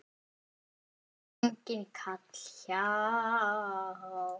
Enginn kall hjá